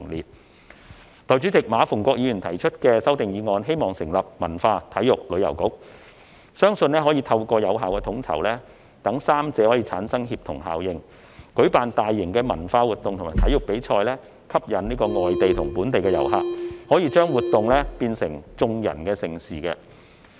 代理主席，馬逢國議員提出修正案，建議成立"文化、體育及旅遊局"，希望可以透過有效統籌，讓3個範疇產生協同效應，舉辦大型文化活動及體育比賽，吸引外地及本地遊客，把活動變成"眾人的盛事"。